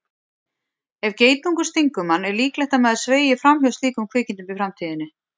Ef geitungur stingur mann er líklegt að maður sveigi fram hjá slíkum kvikindum í framtíðinni.